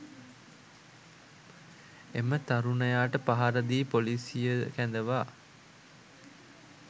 එම තරුණයාට පහර දී පොලීසිය කැඳවා